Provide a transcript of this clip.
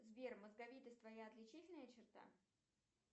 сбер мозговитость твоя отличительная черта